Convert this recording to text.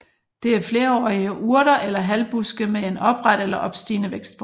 Det er flerårige urter eller halvbuske med en opret eller opstigende vækstform